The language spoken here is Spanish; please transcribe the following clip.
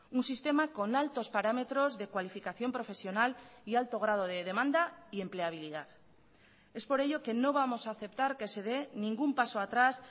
un sistema con altos parámetros de cualificación profesional y alto grado de demanda y empleabilidad es por ello que no vamos a aceptar que se dé ningún paso atrás